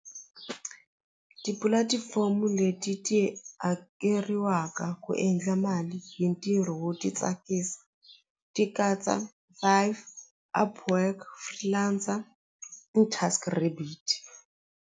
Tipulatifomo leti tihakeriwaka ku endla mali hi ntirho wo ti tsakisa ti katsa five upwork .